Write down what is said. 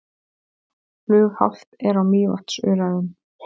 Flughált er á Mývatnsöræfum